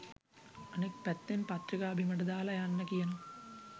අනෙක් පැත්තෙන් පත්‍රිකා බිමට දාලා යන්න කියනවා.